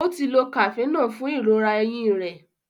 o tí ló Cafenol fún ìrora ẹhìn rẹ.